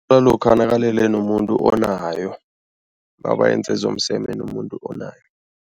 Nalokha nakalele nomuntu onayo, nabenze zomseme nomuntu onayo.